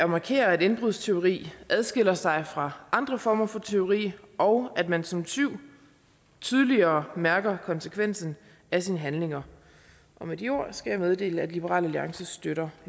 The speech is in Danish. markere at indbrudstyveri adskiller sig fra andre former for tyveri og at man som tyv tydeligere mærker konsekvensen af sine handlinger med de ord skal jeg meddele at liberal alliance støtter